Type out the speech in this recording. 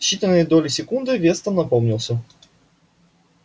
в считанные доли секунды вестон опомнился